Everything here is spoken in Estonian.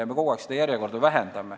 Ja me kogu aeg ka lühendame seda järjekorda.